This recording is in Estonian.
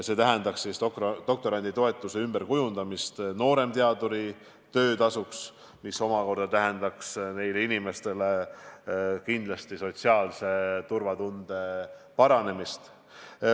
See tähendaks doktoranditoetuse ümberkujundamist nooremteaduri töötasuks, mis omakorda parandaks kindlasti nende inimeste sotsiaalset turvatunnet.